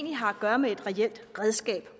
har at gøre med et reelt redskab